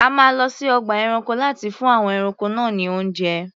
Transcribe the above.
A máa lọ sí ọgbà ẹranko láti fún àwọn ẹranko náà ní oúnjẹ.